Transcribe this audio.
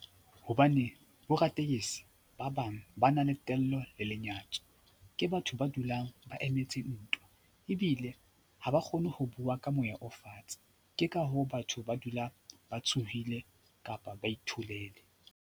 Hobane boraditekesi ba bang ba na le tello le lenyatso. Ke batho ba dulang ba emetse ntwa ebile ha ba kgone ho bua ka moya o fatshe. Ke ka hoo batho ba dula ba tshohile kapa ba itholele.